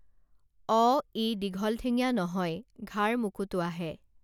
অ ই দীঘল ঠেঙীয়া নহয় ঘাৰ মোকোটোৱাহে